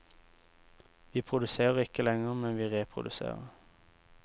Vi produserer ikke lenger, men vi reproduserer.